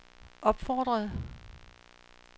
opfordrede